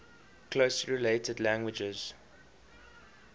closely related languages